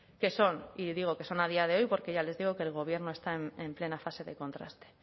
que son y digo que son a día de hoy porque ya les digo que el gobierno está en plena fase de contraste